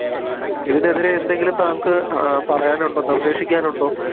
ഇതിനെതിരെ എന്തെങ്കിലും തങ്കക്ക് അഹ് പറയാനുണ്ടോ നിർദ്ദേശിക്കാനുണ്ടോ